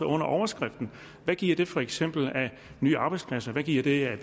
under overskriften hvad giver det for eksempel af nye arbejdspladser hvad giver det af